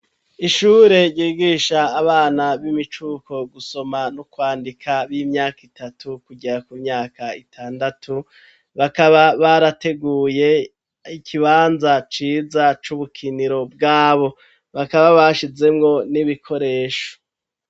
Ishure ryigisha abana b'imicuko gusoma no kwandika b'imyaka itatu kugera ku myaka itandatu bakaba barateguye ikibanza ciza c'ubukiniro bwabo, bakaba bashizemwo n'ibikoresho.